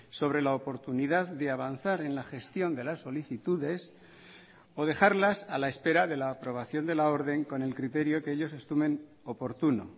sobre la oportunidad de avanzar en la gestión de las solicitudes o dejarlas a la espera de la aprobación de la orden con el criterio que ellos estimen oportuno